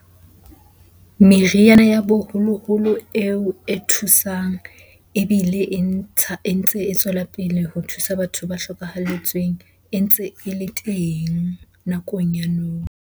Meriana ya boholoholo eo e thusang ebile e ntsha, e ntse e tswela pele ho thusa batho ba hlokahalletsweng e ntse e le teng nakong ya nou.